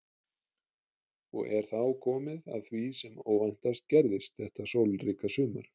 Og er þá komið að því sem óvæntast gerðist þetta sólríka sumar.